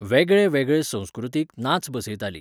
वेगळे वेगळे संस्कृतीक नाच बसयतालीं.